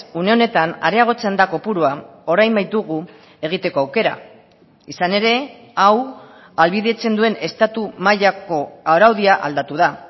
une honetan areagotzen da kopurua orain baitugu egiteko aukera izan ere hau ahalbidetzen duen estatu mailako araudia aldatu da